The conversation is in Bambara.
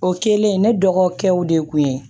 O kɛlen ne dɔgɔkɛw de kun ye